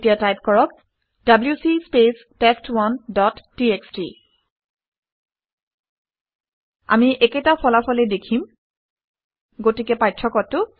এতিয়া টাইপ কৰক - W C space test one dot TXT আমি একেটা ফলকে ফলাফলেই দেখিম গতিকে পাৰ্থক্যটো কি